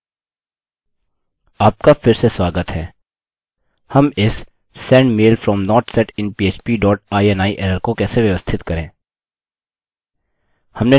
आपका फिर से स्वागत है हम इस send mail from not set in php dot ini error को कैसे व्यवस्थित करें